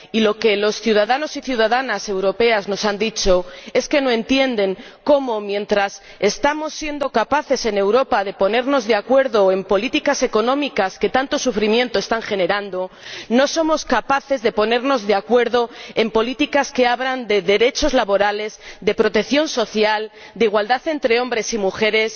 y lo que los ciudadanos y ciudadanas europeos nos han dicho es que no entienden cómo mientras estamos siendo capaces en Europa de ponernos de acuerdo en políticas económicas, que tanto sufrimiento están generando, no somos capaces de ponernos de acuerdo en políticas que hablan de derechos laborales, de protección social, de igualdad entre hombres y mujeres.